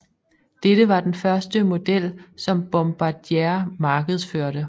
Dette var den første model som Bombardier markedsførte